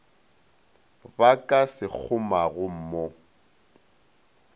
ba ka se kgomago mo